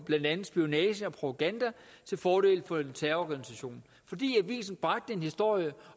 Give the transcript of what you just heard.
blandt andet spionage og propaganda til fordel for en terrororganisation fordi avisen bragte en historie